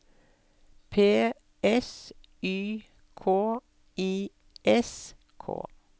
P S Y K I S K